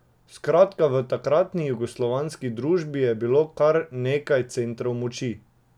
Skratka, v takratni jugoslovanski družbi je bilo kar nekaj centrov moči.